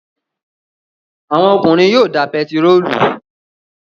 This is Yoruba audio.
Àwọn ọkùnrin yóò da pẹtírólù